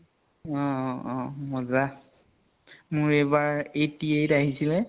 অহ অ অ । মজ্জা। মোৰ এইবাৰ eighty eight আহিছিলে।